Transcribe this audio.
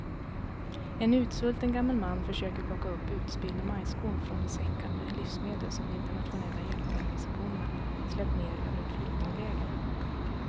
En utsvulten gammal man försöker plocka upp utspillda majskorn från de säckar med livsmedel som de internationella hjälporganisationerna släppt ner över ett flyktingläger.